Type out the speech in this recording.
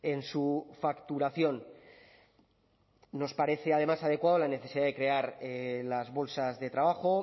en su facturación nos parece además adecuado la necesidad de crear las bolsas de trabajo